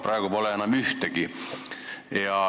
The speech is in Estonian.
Praegu pole enam ühtegi.